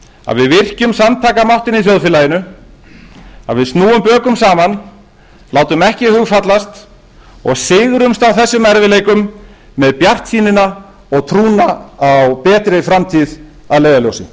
að við virkjum samtakamáttinn í þjóðfélaginu að við snúum bökum saman látum ekki hug fallast og sigrumst á þessum erfiðleikum með bjartsýnina og trúna á betri framtíð að leiðarljósi